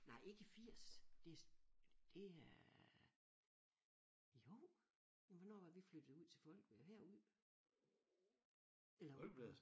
Nej ikke i 80 det det er jo jamen hvornår var det vi flyttede ud til folk eller herud? Eller ud på